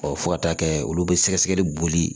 fo ka taa kɛ olu bɛ sɛgɛsɛgɛli boli